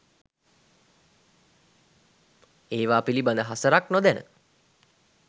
ඒවා පිළිබද හසරක් නොදැන